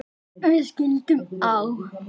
Við skildum á